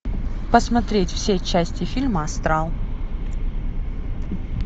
посмотреть все части фильма астрал